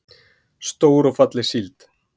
Stór og falleg síld.